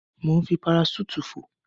Mò ń fi paraṣúùtì fò.